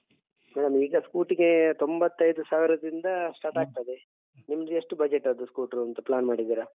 Madam ಈಗ scooty ಗೆ ತೊಂಬತ್ತೈದು ಸಾವಿರದಿಂದ start ಆಗ್ತದೆ ನಿಮ್ದು ಎಷ್ಟು budget ಅದ್ದು ಸ್ಕೂಟ್ರೂಂತ plan ಮಾಡಿದ್ದೀರ?